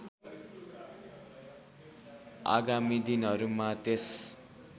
आगामी दिनहरूमा त्यस